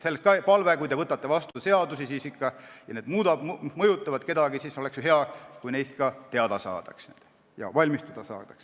Sellest ka palve: kui te võtate vastu seadusi ja need mõjutavad kedagi, siis oleks hea, kui neist ka teada saadaks ja nendeks valmistuda saaks.